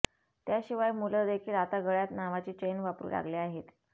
त्याशिवाय मुलंदेखील आता गळ्यात नावाची चैन वापरू लागले आहेत